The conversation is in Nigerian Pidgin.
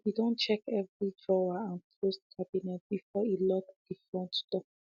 he be don check every drawer and closed cabinet before e lock de front door